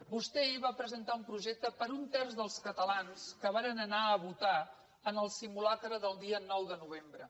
vostè ahir va presentar un projecte per a un terç dels catalans que varen anar a votar en el simulacre del dia nou de novembre